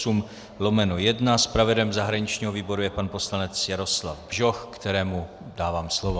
Zpravodajem zahraničního výboru je pan poslanec Jaroslav Bžoch, kterému dávám slovo.